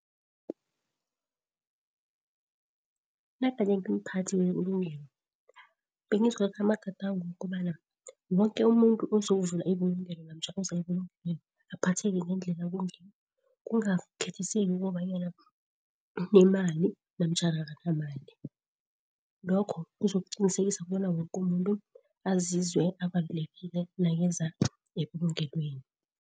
Nagade ngimphathi webulungelo begizokuthatha amagadango wokobana woke umuntu uzokuvula ibulungelo namtjha uze ebulungelweni abaphatheke ngendlela ekungiyo, kungakhethiseli kobanyana unemali namtjhana akanamali. Lokho kuzokuqinisekisa kobana woke umuntu azizwe abalulekile nakeza ebulungelweni.